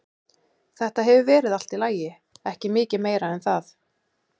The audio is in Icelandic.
Þetta hefur verið allt í lagi, ekki mikið meira en það.